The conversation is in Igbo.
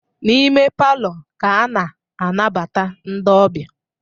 N'ime palọ ka a na-anabata ndị ọbịa